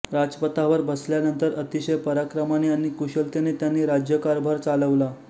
राजपथावर बसल्यानंतर अतिशय पराक्रमाने आणि कुशलतेने त्यांनी राज्यकारभार चालवला